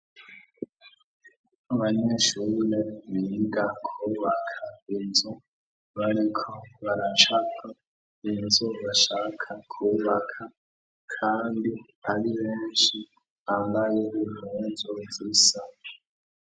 Abanyeshure biga kwubaka inzu bariko baracapa inzu bashaka kwubaka kandi ari benshi bambaye impuzu zisa.